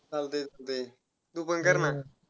जाऊ दे, असु दे, तू पण कर ना.